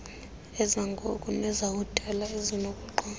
ezangoku nezakudala ezinokuqondwa